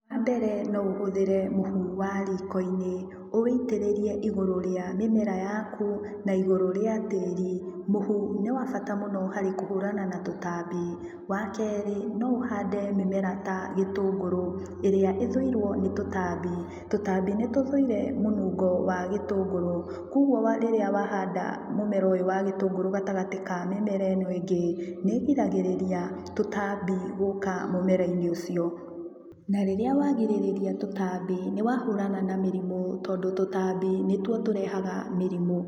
Wambere no ũhũthĩre mũhu wa rikoinĩ ũwĩitĩrĩrie igũrũ wa mĩmera yaku na igũrũ rĩa tĩri. Mũhu nĩ wa bata mũno harĩ kũhũrana na tũtambi, wa kerĩ, no ũhande mĩmera ta gĩtũngũrũ, ĩrĩa ĩthuirwo nĩ tũtambi. Tũtambi nĩtũthuire mũnungo wa gĩtũngurũ koguo rĩrĩa wahanda mũmera ũyũ wa gĩtũngũrũ gatagatĩ wa mĩmera ĩno ĩngĩ nĩigiragĩrĩria tũtambi gũka mũmeraini ũcio na rĩrĩa wagirĩrĩria tũtambi nĩwahũrana na mĩrimũ tondũ tũtambi nĩtuo tũrehaga mĩrimũ.